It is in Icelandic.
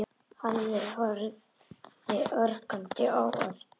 Halli horfði ögrandi á Örn.